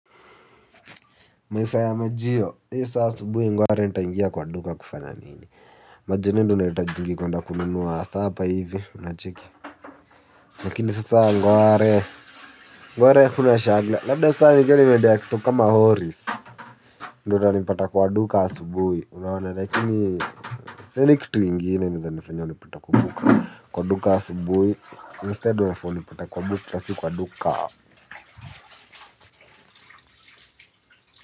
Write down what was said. Masaa ya majiyo, hee saa asubuhi ngware nitaingia kwa duka kufanya nini. Majioni ndo unahitajingi kwenda kununua supper hivi, unacheki lakini sasa ngware, ngware kuna shagla, labda sasa nikuwe nimeendea kitu kama oris. Ndo utanipata kwa duka asubuhi, unaona lakini sioni kitu ingine inaeza nifanya ni pata kwa duka. Kwa duka asubuhi, instead unafaa unipate kwa bukla si kwa duka.